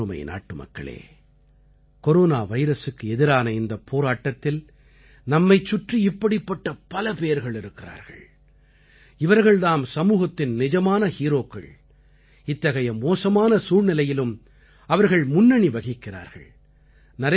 எனதருமை நாட்டுமக்களே கொரோனா வைரசுக்கு எதிரான இந்தப் போராட்டத்தில் நம்மைச் சுற்றி இப்படிப் பலபேர்கள் இருக்கிறார்கள் இவர்கள் தாம் சமூகத்தின் நிஜமான ஹீரோக்கள் இத்தகைய மோசமான சூழ்நிலையிலும் அவர்கள் முன்னணி வகிக்கிறார்கள்